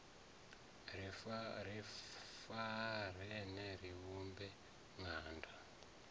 ri farane ri vhumbe ṅanda